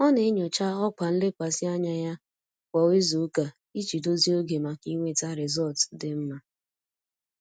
Ọ na-enyocha ọkwa nlekwasị anya ya kwa izuụka iji dozie oge maka inweta rịzọlt dị mma.